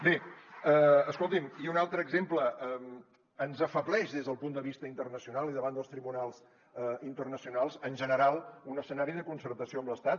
bé escolti’m i un altre exemple ens afebleix des del punt de vista internacional i davant dels tribunals internacionals en general un escenari de concertació amb l’estat